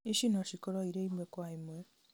ici nocikorwo irĩ ĩmwe kwa ĩmwe